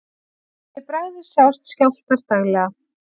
Fyrir bragðið sjást skjálftar daglega.